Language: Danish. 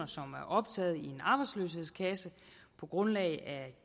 som er optaget i en arbejdsløshedskasse på grundlag af